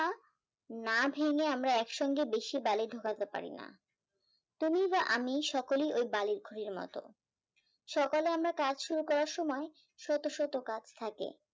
না ভেঙে আমরা একসঙ্গে বেশি বালি ঢোকাতে পারিনা তুমি বা আমি সকলেই এই বালির খনির মতো সকালে আমরা কাজ উরু করার সময় শত শত কাজ থাকে